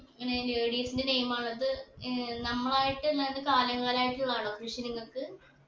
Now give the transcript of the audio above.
ഇങ്ങനെ ladies ന്റെ name ആ ഉള്ളത് ഏർ നമ്മളായിട്ട് എന്താണ് കാലങ്ങളായിട്ടുള്ളതാണോ കൃഷി നിങ്ങക്ക്